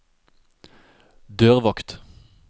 dørvakt